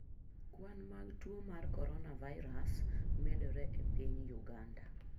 Kwan mag tuo mar Coronavirus medore e piny Uganda.